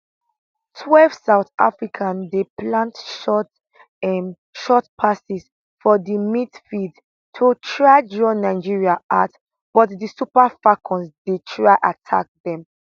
12 south africa dey play short um short passes for di midfield to try draw nigeria out but di super falcons dey try attack dem